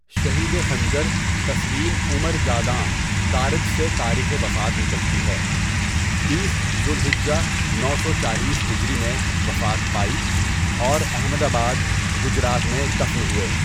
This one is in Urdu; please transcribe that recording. شہید خنجر تسلیم عمر جاداں دارد سے تاریخ وفات نکلتی ہے بیس ذوالحجۃ نو سو چالیس ہجری میں وفات پائی اور احمدآباد گجرات میں دفن ہوئے.